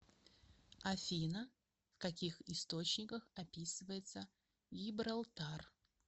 афина в каких источниках описывается гибралтар